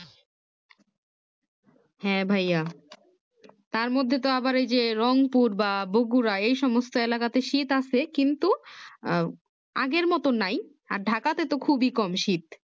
হ্যাঁ ভাইয়া তার মধ্যে তো আবার এই যে রং পুর বা বগুড়া এই সমস্ত এলাকাতে শীত আছে কিন্তু আহ আগের মতো নাই আর ঢাকাতে তো খুবই কম শীত